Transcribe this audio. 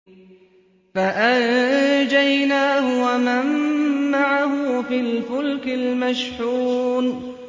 فَأَنجَيْنَاهُ وَمَن مَّعَهُ فِي الْفُلْكِ الْمَشْحُونِ